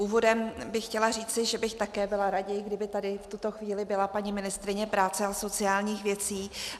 Úvodem bych chtěla říci, že bych také byla raději, kdyby tady v tuto chvíli byla paní ministryně práce a sociálních věcí.